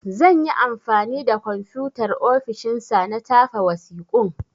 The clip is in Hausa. Zan yi anfani da Komfutar ofishin sa na tafa wasiƙun.